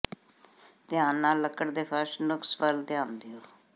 ਧਿਆਨ ਨਾਲ ਲੱਕੜ ਦੇ ਫਰਸ਼ ਨੁਕਸ ਵੱਲ ਧਿਆਨ ਦਿਓ